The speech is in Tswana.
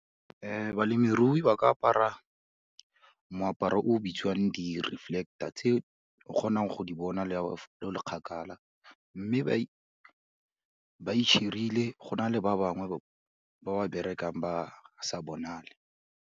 Balemirui ba ka apara moaparo o bitsiwang di-reflector, tse o kgonang go di bona le ha o le kgakala, mme ba e share-rile go na le ba bangwe ba ba berekang ba sa bonale.